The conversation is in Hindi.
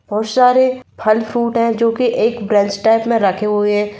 बहुत सारे फल फ्रूट है जो की एक ब्रांच टाइप में रखे हुए --